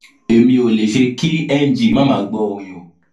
èmi ò lè ṣe kí ng má máa gbọ àgbọrìn o